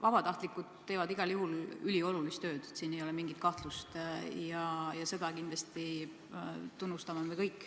Vabatahtlikud teevad igal juhul üliolulist tööd, selles ei ole mingit kahtlust, ja seda me kõik kindlasti tunnustame.